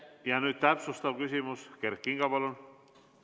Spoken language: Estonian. Ja nüüd täpsustav küsimus, Kert Kingo, palun!